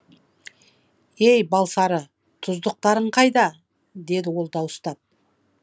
ей балсары тұздықтарың қайда деді ол дауыстап